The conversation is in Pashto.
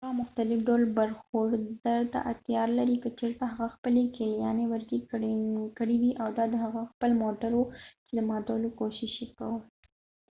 هغه مختلف ډول برخورد ته اړتیا لري که چیرته هغه خپلې کیلیانې ورکې کړي وي او دا د هغه خپل موټر وو چې د ماتولو کوشش یې کاوه